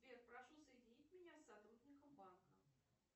сбер прошу соединить меня с сотрудником банка